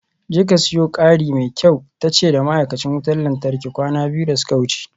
Jeka siyo kari mai kyau tace da ma'aikacin wutar lantarki kwana biyu da suka wuce.